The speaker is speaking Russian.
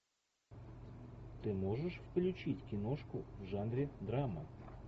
ты можешь включить киношку в жанре драма